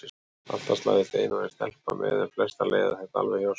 Alltaf slæðist ein og ein stelpa með en flestar leiða þetta alveg hjá sér.